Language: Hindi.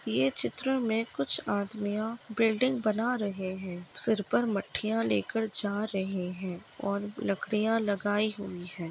ये चित्र में कुछ आदमिया बिल्डिंग बना रहे हैं सिर पर मटकियाँ लेकर जा रहे हैं और लकड़ियाँ लगाई हुई हैं।